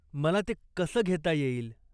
मला ते कसं घेता येईल?